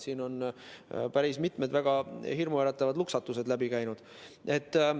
Siin on päris mitmed väga hirmuäratavad luksatused läbi käinud.